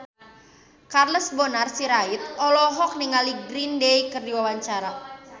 Charles Bonar Sirait olohok ningali Green Day keur diwawancara